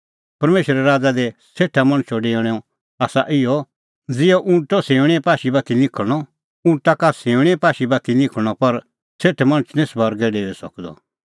परमेशरे राज़ा दी सेठा मणछो डेऊणअ आसा इहअ ज़िहअ ऊँटो सिऊंणीए पाशी बाती निखल़णअ ऊँट सका सिऊंणीए पाशी बाती निखल़ी पर सेठ मणछ निं स्वर्गै डेऊई सकदअ